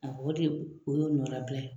A o de o y'o nɔnabila ye